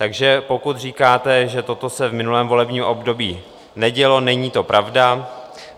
Takže pokud říkáte, že toto se v minulém volebním období nedělo, není to pravda.